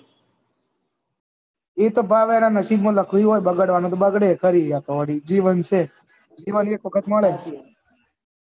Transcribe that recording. એ તો ભાઈ એના નસીબ માં લખેલું હોય બગડવાનું તો બગડે એ ફરી રહ્યા વાડી જીવન છે એ એક વખત મળે